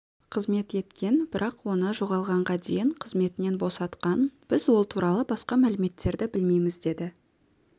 қызмет еткен бірақ оны жоғалғанға дейін қызметінен босатқан біз ол туралы басқа мәліметтерді білмейміз деді